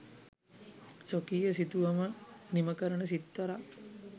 ස්වකීය සිතුවම නිම කරන සිත්තරා